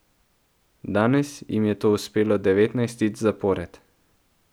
Danes jim je to uspelo devetnajstič zapored.